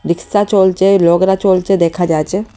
রিক্সা চলছে লগরা চলছে দেখা যাচ্ছে।